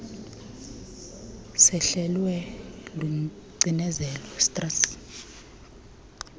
sehlelwe lucinezelo stress